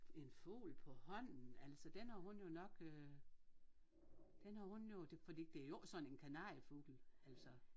En fugl på hånden altså den har hun jo nok øh den har hun jo det fordi det jo ikke sådan en kanariefugl altså